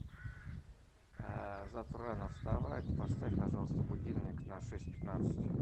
завтра рано вставать поставь пожалуйста будильник на шесть пятнадцать